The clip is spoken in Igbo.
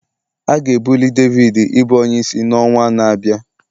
A ga-ebuli David ịbụ onyeisi n'ọnwa na-abịa